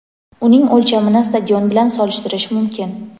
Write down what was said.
uning o‘lchamini stadion bilan solishtirish mumkin.